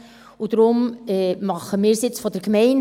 Deshalb machen wir das jetzt über die Gemeinde.